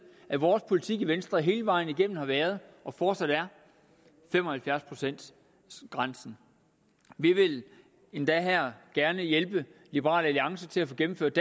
at vores politik i venstre hele vejen igennem har været og fortsat er fem og halvfjerds procents grænsen vi vil endda gerne hjælpe liberal alliance til at få gennemført